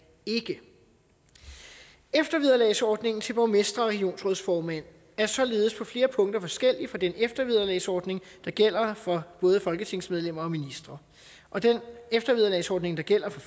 ikke eftervederlagsordningen til borgmestre og regionsrådsformænd er således på flere punkter forskellig fra den eftervederlagsordning der gælder for både folketingsmedlemmer og ministre og den eftervederlagsordning der gælder for